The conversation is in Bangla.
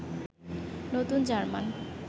নতুন জার্মান